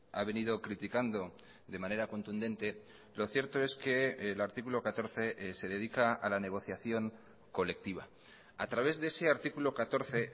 ha venido criticando de manera contundente lo cierto es que el artículo catorce se dedica a la negociación colectiva a través de ese artículo catorce